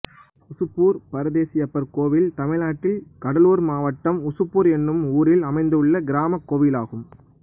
உசுப்பூர் பரதேசியப்பர் கோயில் தமிழ்நாட்டில் கடலூர் மாவட்டம் உசுப்பூர் என்னும் ஊரில் அமைந்துள்ள கிராமக் கோயிலாகும்